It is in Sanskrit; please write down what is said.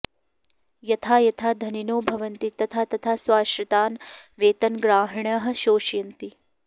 यथा यथा धनिनो भवन्ति तथा तथा स्वाश्रितान् वेतनग्राहिणः शोषयन्ति